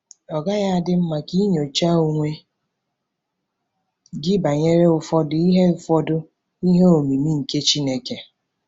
Ọ́ gaghị adị mma ka i nyochaa onwe gị banyere ụfọdụ “ihe ụfọdụ “ihe omimi nke Chineke”?